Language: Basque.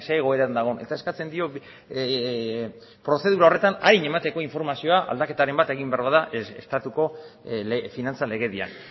egoeran dagoen eta eskatzen dio prozedura horretan arin emateko informazioa aldaketaren bat egin behar bada estatuko finantza legedian